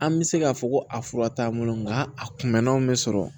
An bɛ se k'a fɔ ko a fura t'an bolo nka a kunbɛnnaw bɛ sɔrɔ